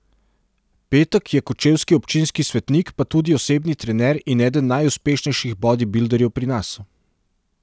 Petek je kočevski občinski svetnik pa tudi osebni trener in eden najuspešnejših bodibilderjev pri nas.